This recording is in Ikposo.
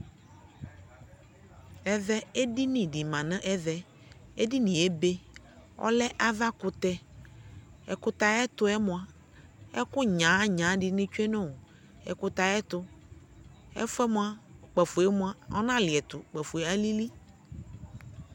ɛvɛ ɛdini di manʋ ɛvɛ, ɛdiniɛ ɛbɛ, ɔlɛ aɣa kʋtɛ, ɛkʋtɛ ayɛtʋɛ mʋa ɛkʋ nyaanya dini twɛnʋ ɛkʋtɛ ayɛtʋ, ɛƒʋɛ mʋa kpaƒɔɛ mʋa ɔna liɛtʋ, kpaƒʋɛ alili